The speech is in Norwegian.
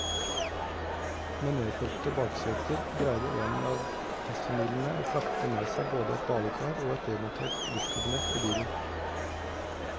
Med nedfelte bakseter greide en av testfamiliene å frakte med seg både et badekar og et demontert dusjkabinett i bilen.